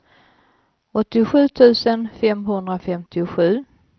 åttiosju tusen femhundrafemtiosju